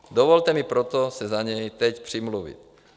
Dovolte mi proto se za něj teď přimluvit.